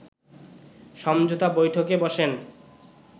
সমঝোতা বৈঠকে বসেন